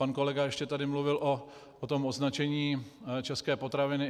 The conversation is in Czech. Pan kolega ještě tady mluvil o tom označení české potraviny.